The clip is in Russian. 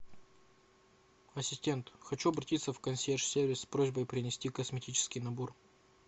ассистент хочу обратиться в консьерж сервис с просьбой принести косметический набор